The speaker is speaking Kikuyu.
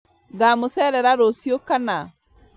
Ngamũcerera rũciũ kana?